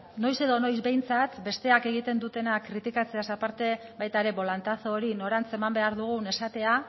noiz edo noiz behintzat besteek egiten dutena kritikatzeaz aparte baita ere bolantazo hori norantz eman behar dugun esatea